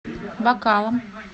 бакалом